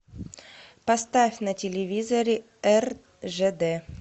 поставь на телевизоре ржд